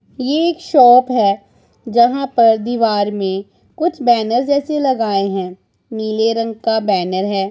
ये एक शॉप है जहां पर दीवार में कुछ बैनर जैसे लगाए हैं नीले रंग का बैनर है।